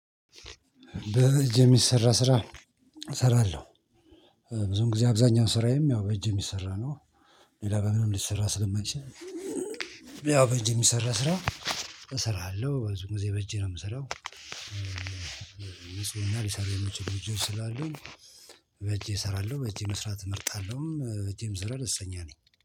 በእጅ የሚሰራ ስራ እሰራለሁ። ብዙም ጊዜ አብዛኛው ስራዬም ያው በእጅ የሚሰራ ነው። ሌላ በምንም ሊሰራ ስለማይችል ያው ያው በእጄ የሚሰራ ስራ እሰራለሁ። በብዙ ጊዜ በእጄ ነው የምሰራው። እና ሊሰራው የሚችል እጄ ስላሉ በእጄ እሰራለሁ በእጄ መስራት እመርጣለሁም በእጄም ብሰራ ደስ ይለኛል